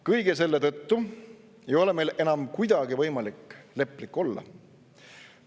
Kõige selle tõttu ei ole meil enam kuidagi võimalik leplik olla.